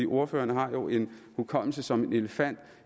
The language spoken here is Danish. ordføreren har jo en hukommelse som en elefant